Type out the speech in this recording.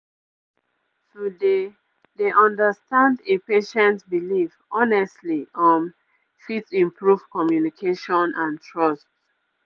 to dey dey understand a patient belief honestly um fit improve communication and trust